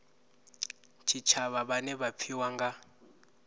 tshitshavha vhane vha pfiwa nga